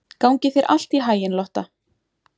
Gangi þér allt í haginn, Lotta.